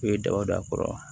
I ye daba don a kɔrɔ wa